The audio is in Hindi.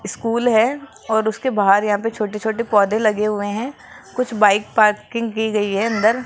स्कूल है और उसके बाहर यहां पे छोटे छोटे पौधे लगे हुए हैं कुछ बाइक पार्किंग की गई है अंदर।